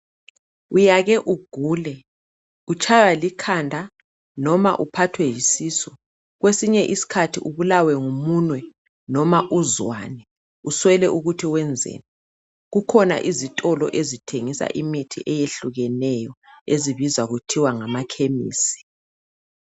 Uyake ugule, utshaywa likhanda noma uphathwe yisisu. Kwesinye iskhathi ubulawe ngumunwe noma uzwane, uswele ukuthi wenzeni. Kukhona izitolo ezithengisa imithi eyehlukeneyo ezibizwa kuthiwa ngama khemisi.